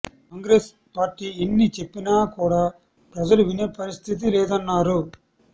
Congress party ఎన్ని చెప్పినా కూడ ప్రజలు వినే పరిస్థితి లేదన్నారు